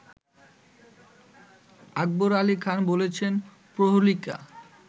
আকবর আলি খান বলেছেন প্রহেলিকা